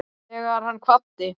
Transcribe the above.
Þegar hann kvaddi